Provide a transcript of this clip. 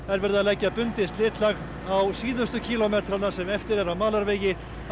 er verið að leggja bundið slitlag á síðustu kílómetrana sem eftir eru af malarvegi á